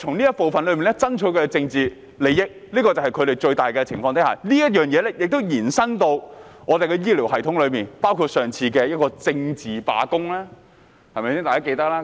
他們在此爭取他們的政治利益，這便是他們最大的前提，而這亦延伸至香港的醫療系統，包括上次的政治罷工，對嗎？